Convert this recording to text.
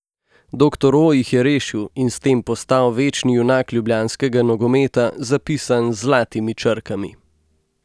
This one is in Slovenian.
Doktor O jih je rešil in s tem postal večni junak ljubljanskega nogometa, zapisan z zlatimi črkami.